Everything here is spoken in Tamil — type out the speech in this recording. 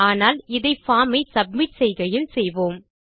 ஆனால் அதை பார்ம் ஐ சப்மிட் செய்கையில் செய்வோம்